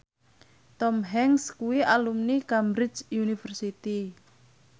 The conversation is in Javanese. Tom Hanks kuwi alumni Cambridge University